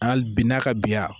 Hali bi n'a ka biya